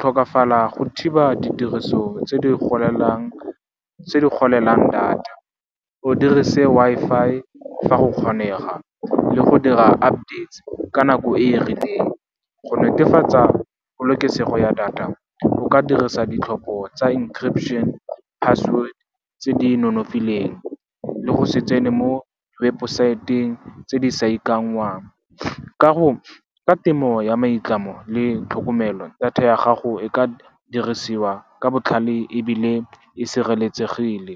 tlhokafala go thiba ditiriso tse di golelang data, o dirise Wi-Fi fa go kgonega le go dira updates ka nako e e rileng, go netefatsa polokesego ya data, o ka dirisa ditlhopho tsa encryption, password tse di nonofileng, le go se tsene mo webosaeteng tse di sa ikanngwang. Ka temo ya maitlamo le tlhokomelo, data ya gago e ka dirisiwa ka botlhale ebile e sireletsegile.